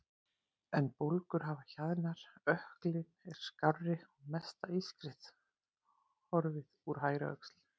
En bólgur hafa hjaðnað, ökklinn er skárri og mesta ískrið horfið úr hægri öxl.